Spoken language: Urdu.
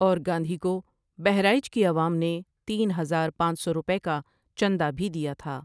اور گاندھی کو بہرائچ کی عوام نے تین ہزار پانچ سو روپئے کا چندہ بھی دیا تھا ۔